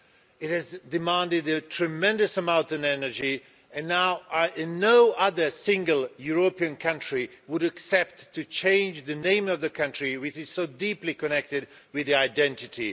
It has demanded a tremendous amount of energy and no other single European country would accept to change the name of a country, which is so deeply connected with identity.